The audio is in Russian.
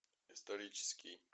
исторический